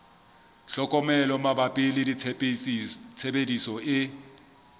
tlhokomelo mabapi le tshebediso e